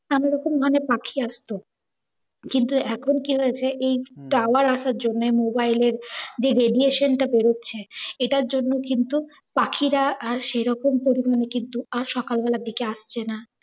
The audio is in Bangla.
নানা রকম ধরণের পাখি আসতো। কিন্তু এখন কি হয়েছে এই tower আসার জন্য মোবাইল এর যে radiation টা বেরোচ্ছে এতার জন্য কিন্তু পাখিরা আর সেরকম পরিমাণে কিন্তু আর সকালবেলার দিকে আর আসছে না।